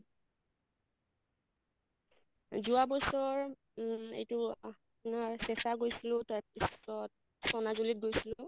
যোৱা বছৰ উম এইটো অ আপোনাৰ চেচা গৈছিলো তাৰ পিছত চনাজুলীত গৈছিলো